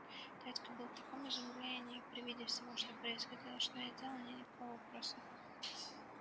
дядька был в таком изумлении при виде всего что происходило что не сделал мне никакого вопроса